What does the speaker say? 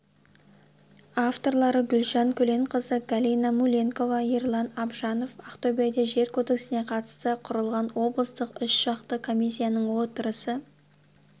авторлары гүлжан көленқызы галина муленкова ерлан абжанов ақтөбеде жер кодексіне қатысты құрылған облыстық үшжақты комиссияның отырысы